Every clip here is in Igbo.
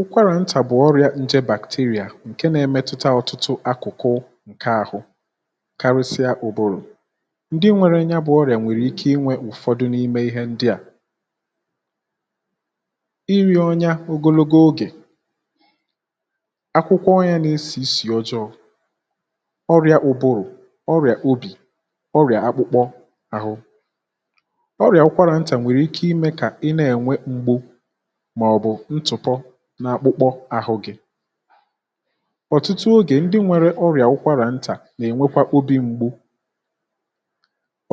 ụ̀kwàrà ntà bụ̀ ọrị̀à nje bàkteria ǹke na-emetụta ọ̀tụtụ akụ̀kụ ǹke ahụ karịsịa ụ̀bụrụ̀, ǹdi nwere ya bụ̀ ọrị̀à nwèrè ike inwe ụ̀fọdụ n’ime ihe ndi à iri̇ ọnya ogologo ogè, akwụkwọ onya nà-esì isì ọjọọ, ọrị̀à ụ̀bụrụ̀, ọrị̀à obì, ọrị̀à akpụkpọ àhụ, ọrị̀à ụkwarà ntà nwèrè ike imė kà ị na-ènwe m̀gbu màọ̀bụ̀ ntụ̀pọ n’akpụkpọ àhụ gị̇. ọ̀tụtụ ogè ndị nwėrė ọrịà ụkwarà ntà nà-ènwekwa obi m̀gbu,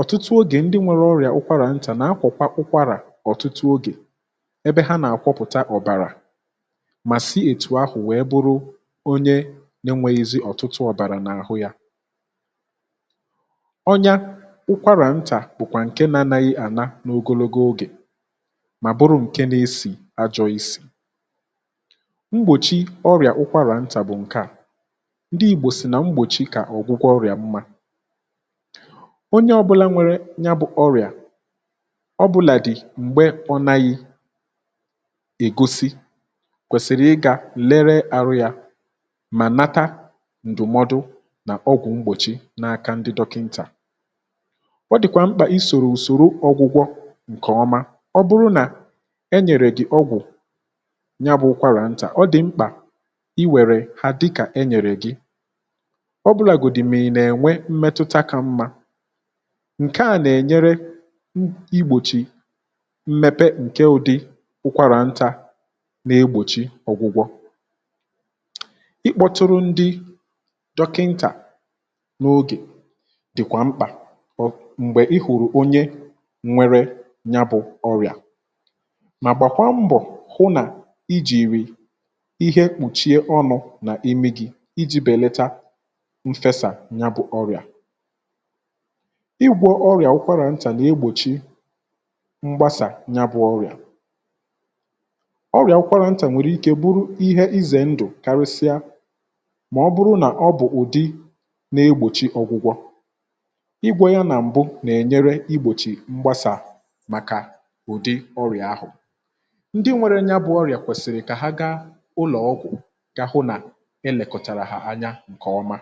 ọ̀tụtụ ogè ndị nwere ọrịà ụkwarà ntà nà akwakwà ụkwarà ọ̀tụtụ ogè ebe ha nà-àkwapụ̀ta ọ̀bàrà mà si ètù ahụ̀ wèe bụrụ onye nȧ enwėghìzi ọ̀tụtụ ọ̀bàrà n’àhụ yȧ. ọnyȧ ụkwarà ntà bụ̀kwà ǹke nȧ-anaghị̇ ànà n’ogologo ogè ma bụrụ nke na-esi ajọ isi m̀gbòchi ọrịà ụkwarà ntà bụ̀ ǹke à, ndị ìgbò sì nà mgbòchi kà ọ̀gwụgwọ ọrịà mmȧ onye ọ̇bụ̇làdi mgbe ọnaghi ègosi kwèsìrì ị gà lere arụ yȧ mà nata ǹdụ̀mọdụ nà ọgwụ̀ mgbòchi n’aka ndị dọkịntà. ọ dị̀kwà mkpà i sòrò ùsòrò ọgwụgwọ̇ ǹkè ọma ọ bụrụ nà enyere gị ọgwụ ya bụ̇ kwarà ntà, ọ dị̀ mkpà inwère ha dịkà enyèrè gị ọbụlàgodi ma i na-ènwe mmetụta kà mma ǹke à nà-ènyere igbòchi mmepe ǹke ụ̀dị ụkwarà ntȧ nà-egbòchi ọ̀gwụgwọ i kpọtụrụ ndị dọkịntà n’ogè dị̀kwà mkpà m̀gbè ị hụ̀rụ̀ onye nwere ya bụ̇ ọrịà ma gbakwa mbọ hụ na ijiri ihe kpùchie ọnụ̇ n’imi gị̇, iji̇ bèlata mfesà ya bụ̀ ọrị̀à igwò ọrị̀à ụkwarà ntà na-egbochi mgbasa ya bu oria.oria ụkwara nta nwereiki bụrụ ize ndụ karịsịa ma oburu na ọ bụ ụdị nà-egbòchi ọgwụgwọ, igwọ ya na mbu na-enyere mgbasà maka ụdị ọrịa ahụ. Ndị nwere ya bụ̇ ọrị̀à kwesịrị ka ha gaa ụlọ ọgwụ ga hụ na elekotara ha anya nke ọma.